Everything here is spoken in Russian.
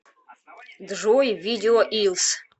джой видео илс